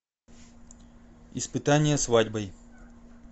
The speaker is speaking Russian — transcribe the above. испытание свадьбой